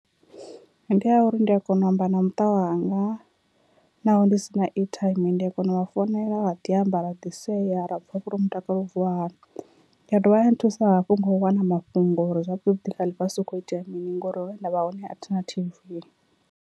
Ndi ya uri ndi a kona u amba na muṱa wanga naho ndi si na airtime ndi a kona uvha founela ra ḓi amba ra ḓi sea ra pfha zwori mutakalo wo vuwa hani, ya dovha ya thusa hafhu nga u wana mafhungo uri zwavhuḓi vhuḓi kha ḽifhasi hu khou itea mini ngori hune nda vha hone a thina T_V.